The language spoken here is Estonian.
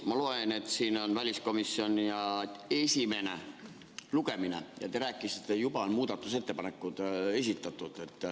Ma loen, et siin on väliskomisjonil esimene lugemine ja te rääkisite, et juba on muudatusettepanekud esitatud.